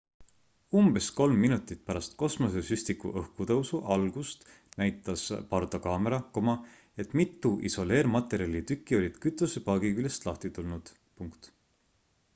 umbes 3 minutit pärast kosmosesüstiku õhkutõusu algust näitas pardakaamera et mitu isoleermaterjali tükki olid kütusepaagi küljest lahti tulnud